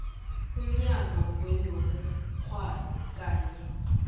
umnyango wezobukghwari kanye